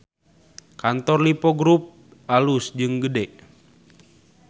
Kantor Lippo Grup alus jeung gede